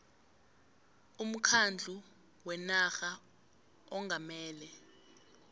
umkhandlu wenarha ongamele